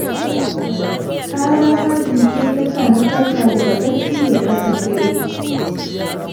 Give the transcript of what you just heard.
Ƙarar harbi ce ta sa na farka daga barci da tsakar dare